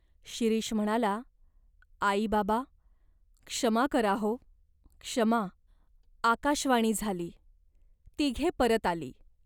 शिरीष म्हणाला "आई, बाबा, क्षमा करा हो." "क्षमा ! 'आकाशवाणी झाली." तिघे परत आली.